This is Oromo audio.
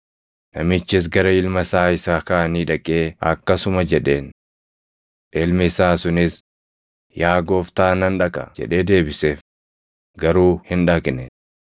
“Namichis gara ilma isaa isa kaanii dhaqee akkasuma jedheen. Ilmi isaa sunis, ‘Yaa gooftaa nan dhaqa’ jedhee deebiseef; garuu hin dhaqne.